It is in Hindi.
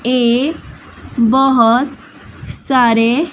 ए बहुत सारे--